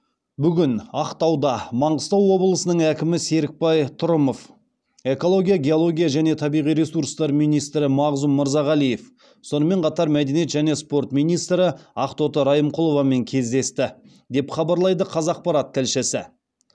бүгін ақтауда маңғыстау облысының әкімі серікбай трұмов экология геология және табиғи ресурстар министрі мағзұм мырзағалиев сонымен қатар мәдениет және спорт министрі ақтоты райымқұловамен кездесті деп хабарлайды қазақпарат тілшісі